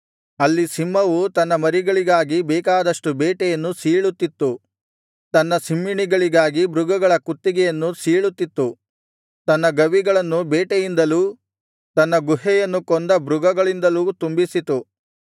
ಅಲ್ಲಿ ಸಿಂಹವು ತನ್ನ ಮರಿಗಳಿಗಾಗಿ ಬೇಕಾದಷ್ಟು ಬೇಟೆಯನ್ನು ಸೀಳುತ್ತಿತ್ತು ತನ್ನ ಸಿಂಹಿಣಿಗಳಿಗಾಗಿ ಮೃಗಗಳ ಕುತ್ತಿಗೆಯನ್ನು ಸೀಳುತಿತ್ತು ತನ್ನ ಗವಿಗಳನ್ನು ಬೇಟೆಯಿಂದಲೂ ತನ್ನ ಗುಹೆಯನ್ನು ಕೊಂದ ಮೃಗಗಳಿಂದಲೂ ತುಂಬಿಸಿತು